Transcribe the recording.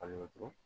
Kalo wo duuru